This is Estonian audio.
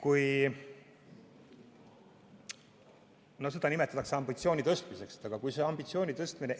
Seda nimetatakse ambitsiooni tõstmiseks.